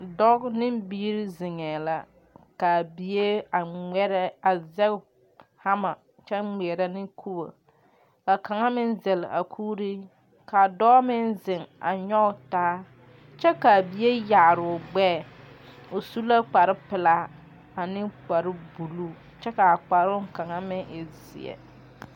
Dɔɔ ne biiri zeŋɛɛ la kaa bie a ŋmɛrɛ a zɛŋ hama kyɛ ŋmeɛrɛ ne kubo kaa kaŋ meŋ zɛl a kuuri ka dɔɔ meŋ ziŋ a nyɔge taa kyɛ kaa bie yaaroo gbɛɛ o su la kpare pilaa ane kpare buluu kyɛ kaa kparoo kaŋ meŋ e zeɛ.